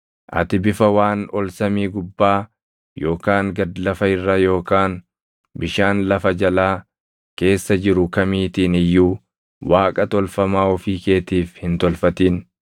Ati bifa waan ol samii gubbaa yookaan gad lafa irra yookaan bishaan lafa jalaa keessa jiru kamiitiin iyyuu Waaqa tolfamaa ofii keetiif hin tolfatin.